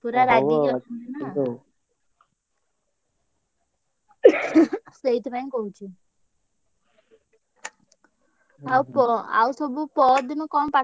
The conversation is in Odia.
ପୁରା ରାଗିକି ଅଛନ୍ତି ନା। ସେଇଥିପାଇଁ କହୁଛି। ଆଉ ~ପ ଆଉ ସବୁ ପରଦିନ କଣ ପାଠ।